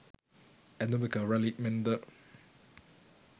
ඇඳුමක රැලි මෙන් ද